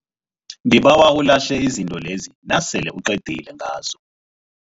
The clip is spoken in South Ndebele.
Ngibawa ulahle izinto lezi nasele uqedile ngazo.